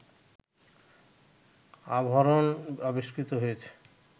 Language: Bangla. আভরণ আবিষ্কৃত হইয়াছে